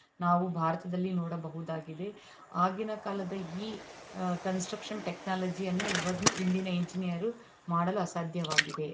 ನಾವು ಭಾರತದಲ್ಲಿ ನೋಡಬಹುದಾಗಿದೆ ಆಗಿನ ಕಾಲದ ಈ ಕನ್ಸ್ಟ್ರಕ್ಷನ್ ಟೆಕ್ನಾಲಜಿ ಅನ್ನು ಇವ ಇಂದಿನ ಇಂಜಿನಿಯರ್ ಮಾಡಲು ಅಸಾಧ್ಯವಾಗಿದೆ.